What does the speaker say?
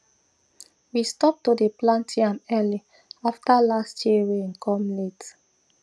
we stop to dey plant yam early after last year rain come late